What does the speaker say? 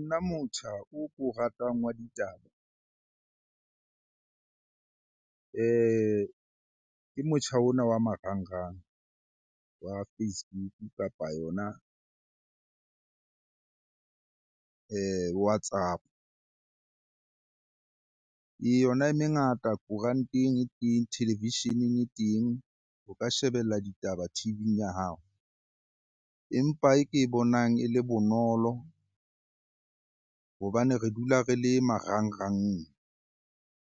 Nna motjha o ko ratang wa ditaba ke motjha ona wa marangrang, wa Facebook kapa yona WhatsApp-o. Ee, yona e mengata koranteng e teng, televisheneng e teng o ka shebella ditaba T_V-ing ya hao. Empa e ke bonang e le bonolo hobane re dula re le marangrang